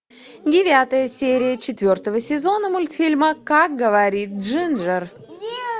девятая серия четвертого сезона мультфильма как говорит джинджер